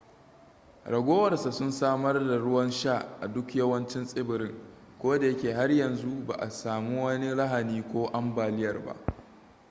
ragowar sa sun samar da ruwan sha a duk yawancin tsibirin koda yake har yanzu ba a sami wani lahani ko ambaliyar ba